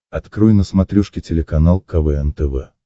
открой на смотрешке телеканал квн тв